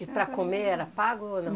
E para comer era pago, ou não?